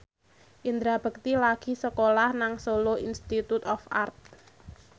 Indra Bekti lagi sekolah nang Solo Institute of Art